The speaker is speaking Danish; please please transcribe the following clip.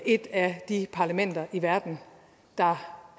et af de parlamenter i verden der